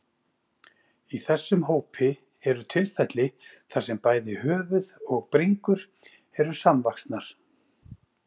Í þessum hópi eru tilfelli þar sem bæði höfuð og bringur eru samvaxnar.